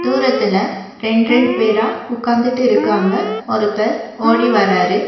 தூரத்துல ரெண்ரெண்டு பேரா உட்காந்துட்டு இருக்காங்க ஒருத்தர் ஓடி வராரு.